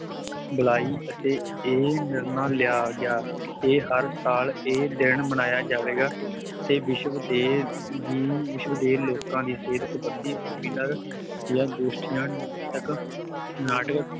ਬੁਲਾਈ ਅਤੇ ਇਹ ਨਿਰਣਾ ਲਿਆ ਗਿਆ ਕਿ ਹਰ ਸਾਲ ਇਹ ਦਿਨ ਮਨਾਇਆ ਜਾਵੇਗਾ ਤੇ ਵਿਸ਼ਵ ਦੇ ਦੀ ਵਿਸ਼ਵ ਦੇ ਲੋਕਾਂ ਦੀ ਸਿਹਤ ਸਬੰਧੀ seminar ਜਾਂ ਗੋਸਟੀਆ ਨਾਟਕ ਨਾਟਕ